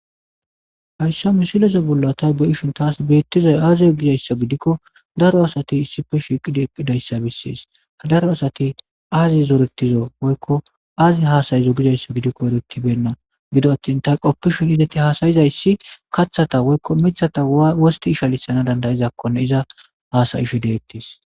Haysa misileza bolla ta be'ishn tas betizay aze gizaysa gidikon daro asat issippe shiqid eqidaysa beses . Daro asat azi zoretizo woykko azi hasa'zo gikon eretibeyna gido atin ta qopishn ist hasa'izaysa katathata woykko mithana worst ishalisanakkon iza hasa'ishe detes.